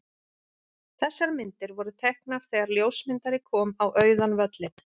Þessar myndir voru teknar þegar ljósmyndari kom á auðan völlinn.